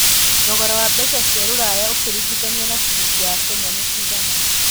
thogora wa mbeca cia rũraya ũkĩrigithania na ciringi ya Kenya nĩ cĩgana